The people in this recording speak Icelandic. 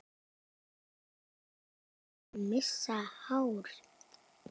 Ég er að missa hárið.